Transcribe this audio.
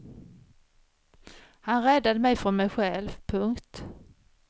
Han räddade mig från mig själv. punkt